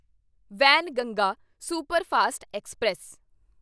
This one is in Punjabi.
Wainganga superfast express